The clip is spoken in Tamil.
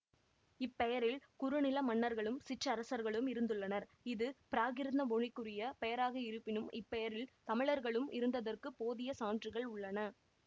இப்பெயரில் குறுநில மன்னர்களும் சிற்றரசர்களும் இருந்துள்ளனர் இது பிராகிருத மொழிக்குரிய பெயராக இருப்பினும் இப்பெயரில் தமிழர்களும் இருத்ததற்குப் போதிய சான்றுகள் உள்ளன